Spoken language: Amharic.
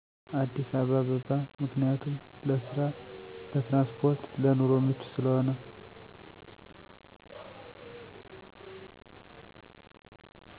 አዲስ አባበባ ምክንያቱም ለስራ ለትራንስፖርት ለኑሮ ምቹ ስለሆነ